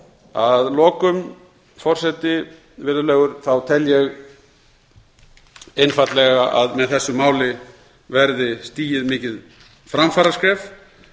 að lokum virðulegur forseti tel ég einfaldlega að með þessu máli verði stigið mikið framfaraskref